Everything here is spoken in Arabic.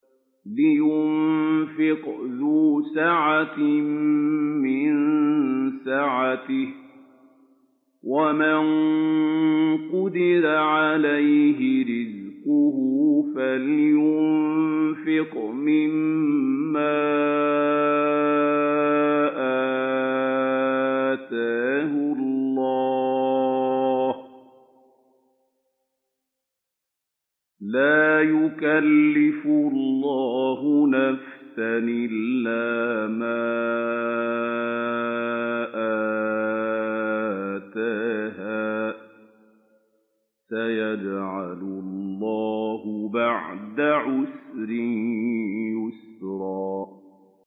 لِيُنفِقْ ذُو سَعَةٍ مِّن سَعَتِهِ ۖ وَمَن قُدِرَ عَلَيْهِ رِزْقُهُ فَلْيُنفِقْ مِمَّا آتَاهُ اللَّهُ ۚ لَا يُكَلِّفُ اللَّهُ نَفْسًا إِلَّا مَا آتَاهَا ۚ سَيَجْعَلُ اللَّهُ بَعْدَ عُسْرٍ يُسْرًا